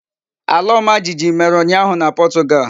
Ala omajijiji mere unyahu na Portugal.